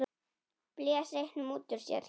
Blés reyknum út úr sér.